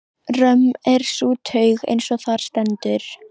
Römm er sú taug, eins og þar stendur